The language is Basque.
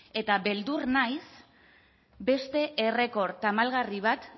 eta beldur naiz beste errekor tamalgarri bat